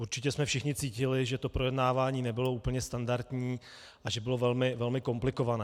Určitě jsme všichni cítili, že to projednávání nebylo úplně standardní a že bylo velmi komplikované.